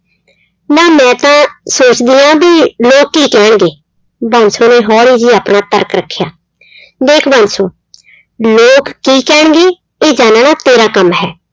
ਨਾ ਮੈਂ ਤਾਂ ਸੋਚਦੀ ਹਾਂ ਵੀ ਲੋਕ ਕੀ ਕਹਿਣਗੇ, ਬਾਂਸੋ ਨੇ ਹੌਲੀ ਹੀ ਆਪਣਾ ਤਰਕ ਰੱਖਿਆ ਦੇਖ ਬਾਂਸੋ ਲੋਕ ਕੀ ਕਹਿਣਗੇ ਇਹ ਜਾਨਣਾ ਤੇਰਾ ਕੰਮ ਹੈ।